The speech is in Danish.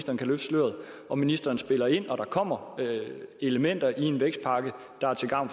og ministeren ville spille ind om der kommer elementer i en vækstpakke der er til gavn